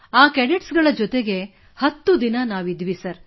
ಆ ಕೆಡೆಟ್ಸ್ಗಳ ಜೊತೆಗೆ 10 ದಿನ ನಾವು ಇದ್ದೆವು